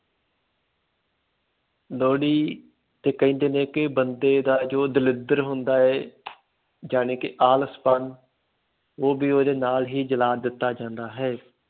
ਲੋਹੜੀ ਤੇ ਕਹਿੰਦੇ ਨੇ ਕਿ ਬੰਦੇ ਦਾ ਜੋ ਦਲਿੱਦਰ ਹੁੰਦਾ ਹੈ ਜਾਣੀ ਕਿ ਆਲਸਪਣ, ਉਹ ਵੀ ਉਹਦੇ ਨਾਲ ਹੀ ਜਲਾ ਦਿੱਤਾ ਜਾਂਦਾ ਹੈ।